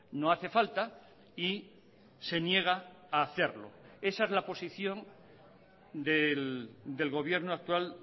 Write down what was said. no hace falta y se niega a hacerlo esa es la posición del gobierno actual